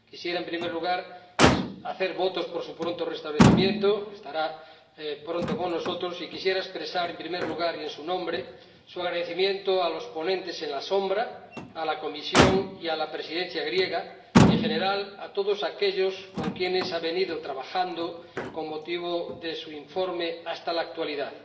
Quisiera, en primer lugar, hacer votos por su pronto restablecimiento —estará pronto con nosotros— y quisiera expresar en su nombre su agradecimiento a los ponentes alternativos, a la Comisión y a la Presidencia griega, y, en general, a todos aquellos con quienes ha trabajado con motivo de su informe hasta la actualidad.